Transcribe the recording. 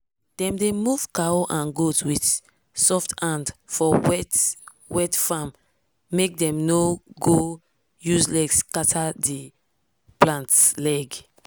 dem dey move cow and goat with soft hand for wet-wet farm make dem no go use leg scatter di plant leg.